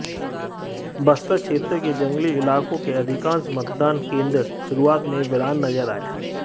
बस्तर क्षेत्र के जंगली इलाकों के अधिकांश मतदान केंद्र शुरुआत में वीरान नजर आए